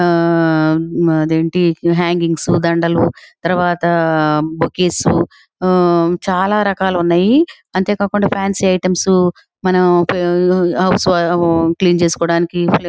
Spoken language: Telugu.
ఆ అదేంటి హ్యాంగింగ్స్ దండలు తరువాత బొకేస్ ఆ చాలా రకాలున్నాయి అంతేకాకుండా ఫాన్సీ ఐటమ్స్ మనం క్లీన్ చేసుకోడానికి --